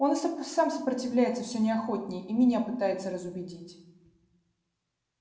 он и сам сопротивляется все неохотнее и меня пытается разубедить